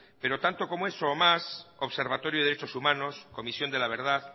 pero tanto como eso o más observatorio de derechos humanos comisión de la verdad